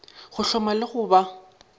go hloma le go ba